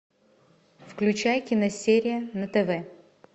включай киносерия на тв